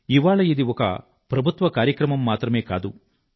ఇవాళ ఇది ఒక ప్రభుత్వ కార్యక్రమం మాత్రమే కాదు